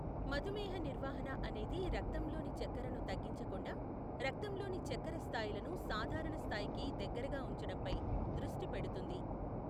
మధుమేహ నిర్వహణ అనేది రక్తంలోని చక్కెరను తగ్గించకుండా రక్తంలోని చక్కెర స్థాయిలను సాధారణ స్థాయికి దగ్గరగా ఉంచడంపై దృష్టి పెడుతుంది.